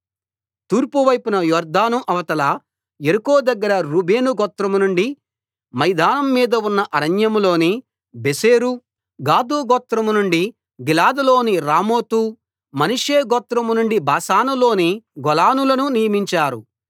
తూర్పు వైపున యొర్దాను అవతల యెరికో దగ్గర రూబేను గోత్రం నుండి మైదానం మీద ఉన్న అరణ్యంలోని బేసెరు గాదు గోత్రం నుండి గిలాదు లోని రామోతు మనష్షే గోత్రం నుండి బాషానులోని గోలానులను నియమించారు